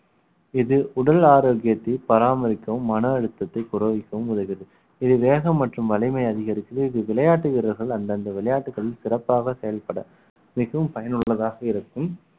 இது உடல் ஆரோக்கியத்தை பராமரிக்கவும் மன அழுத்தத்தை குறைக்கவும் உதவுது இது வேகம் மற்றும் வலிமையை அதிகரிக்குது இது விளையாட்டு வீரர்கள் அந்தந்த விளையாட்டுகளில் சிறப்பாக செயல்பட மிகவும் பயனுள்ளதாக இருக்கும்